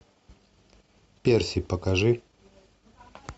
перси покажи